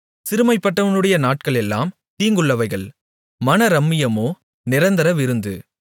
சிறுமைப்பட்டவனுடைய நாட்களெல்லாம் தீங்குள்ளவைகள் மனரம்மியமோ நிரந்தர விருந்து